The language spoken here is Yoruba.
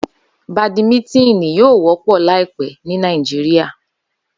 Badimítínì yóò wọ́pọ̀ láìpẹ́ ní Nàìjíríà